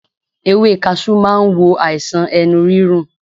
Ewé kaṣú ma wo àìsàn ẹnu rírun